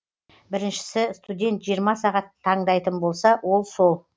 біріншісі студент жиырма сағат таңдайтын болса ол сол